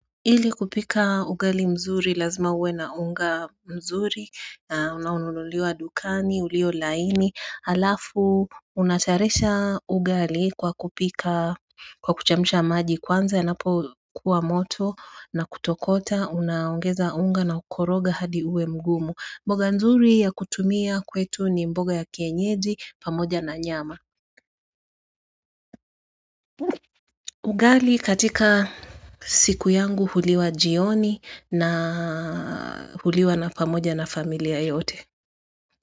Ili kupika ugali mzuri lazima uwe na unga mzuri na unululiwa dukani, ulio laini, alafu unatayarisha ugali kwa kupika kwa kuchemsha maji kwanza yanapokuwa moto na kutokota unaungeza unga na ukoroga hadi uwe mgumu. Mboga nzuri ya kutumia kwetu ni mboga ya kienyeji pamoja na nyama. Ugali katika siku yangu huliwa jioni na huliwa na pamoja na familia yote.